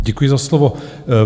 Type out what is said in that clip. Děkuji za slovo.